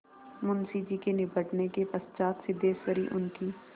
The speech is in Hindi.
मुंशी जी के निबटने के पश्चात सिद्धेश्वरी उनकी